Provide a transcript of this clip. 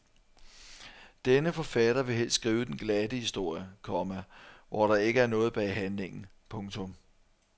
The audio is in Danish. Denne forfatter vil helst skrive den glatte historie, komma hvor der ikke er noget bag handlingen. punktum